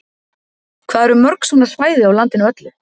Hvað eru mörg svona svæði á landinu öllu?